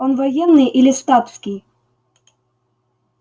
он военный или статский